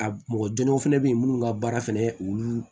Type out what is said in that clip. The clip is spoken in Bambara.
A mɔgɔ jɔnjɔw fɛnɛ be yen minnu ka baara fɛnɛ olu